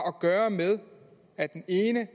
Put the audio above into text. at gøre med at den ene